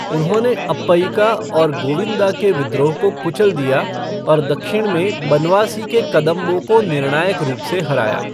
उन्होंने अप्पयिका और गोविंदा के विद्रोह को कुचल दिया और दक्षिण में बनवासी के कदंबों को निर्णायक रूप से हराया।